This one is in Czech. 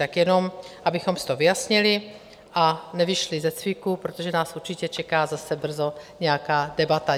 Tak jenom abychom si to vyjasnili a nevyšli ze cviku, protože nás určitě čeká zase brzo nějaká debata.